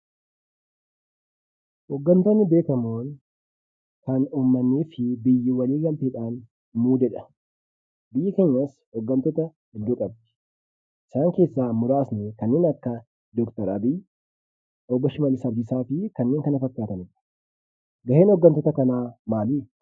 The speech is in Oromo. Hoggantootni beekamoon kan uummatni fi biyyi waliigalee muudedha. Biyyi keenyas hoggantoota hedduu qabdi. Isaan keessaa muraasni kanneen akka Dookter Abiyi, Obbo Shimallis Abdiisaa fi kanneen kana fakkaatanidha. Gaheen hoggantoota kanaa maalii?